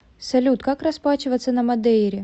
салют как расплачиваться на мадейре